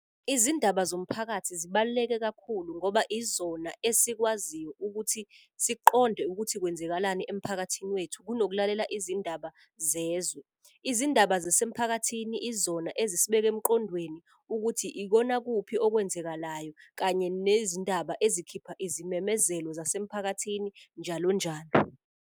Izindaba zomphakathi zibaluleke kakhulu ngoba izona esikwaziyo ukuthi siqonde ukuthi kwenzekalani emphakathini wethu, kunokulalela izindaba zezwe. Izindaba zisemphakathini izona ezisibeka emqondweni, ukuthi ikona kuphi okwenzekalayo. Kanye nezindaba ezikhipha izimemezelo zasemphakathini njalo njalo.